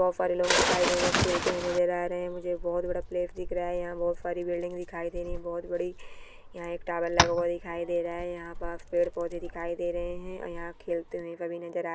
बहोत सारे लोग दिखाई दे रहे है खेलते हुए नज़र आ रहे है मुझे बहोत बड़ा प्लेस दिख रहा है यह बहोत सारी बिल्डिंग दिखाई दे रही है बहोत बड़ी यहाँ एक टॉवर लगा हुआ दिखाई दे रहा है यहाँ पास पेड़-पौधे दिखाई दे रहे है और यहाँ खेलते हुए भी नज़र आ--